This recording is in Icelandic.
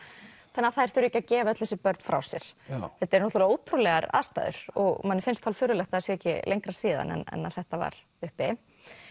þannig að þær þurfi ekki að gefa öll þessi börn frá sér þetta eru náttúrulega ótrúlegar aðstæður og manni finnst hálffurðulegt að það sé ekki lengra síðan en að þetta var uppi